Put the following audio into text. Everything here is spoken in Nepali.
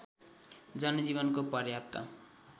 जनजीवनको पर्याप्त